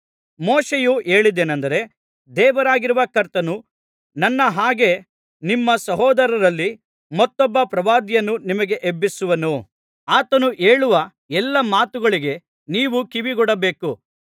ಮೋಶೆಯು ಹೇಳಿದ್ದೇನಂದರೆ ದೇವರಾಗಿರುವ ಕರ್ತನು ನನ್ನ ಹಾಗೆ ನಿಮ್ಮ ಸಹೋದರರಲ್ಲಿ ಮತ್ತೊಬ್ಬ ಪ್ರವಾದಿಯನ್ನು ನಿಮಗೆ ಎಬ್ಬಿಸುವನು ಆತನು ಹೇಳುವ ಎಲ್ಲಾ ಮಾತುಗಳಿಗೆ ನೀವು ಕಿವಿಗೊಡಬೇಕು